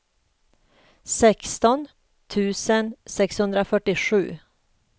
sexton tusen sexhundrafyrtiosju